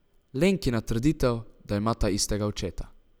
Lenkina trditev, da imata istega očeta.